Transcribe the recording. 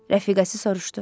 Rəfiqəsi soruşdu.